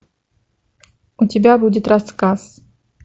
у тебя будет рассказ